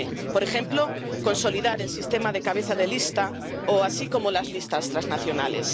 Por ejemplo, consolidar el sistema de cabezas de lista, así como las listas transnacionales.